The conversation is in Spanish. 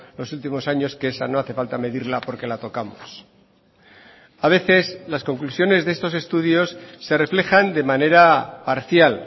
los últimos años que esa no hace falta medirla porque la tocamos a veces las conclusiones de estos estudios se reflejan de manera parcial